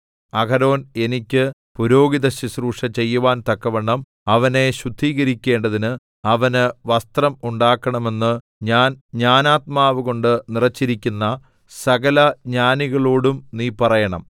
അഹരോൻ എനിക്ക് പുരോഹിതശുശ്രൂഷ ചെയ്യുവാൻ തക്കവണ്ണം അവനെ ശുദ്ധീകരിക്കേണ്ടതിന് അവന് വസ്ത്രം ഉണ്ടാക്കണമെന്ന് ഞാൻ ജ്ഞാനാത്മാവുകൊണ്ട് നിറച്ചിരിക്കുന്ന സകലജ്ഞാനികളോടും നീ പറയണം